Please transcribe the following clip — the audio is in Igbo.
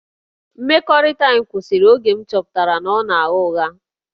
Mmekọrịta anyị kwụsịrị oge m chọpụtara na ọ na-agha ụgha